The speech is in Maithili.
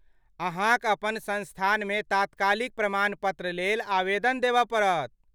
अहाँक अपन संस्थानमे तात्कालिक प्रमाण पत्र लेल आवेदन देबऽ पड़त।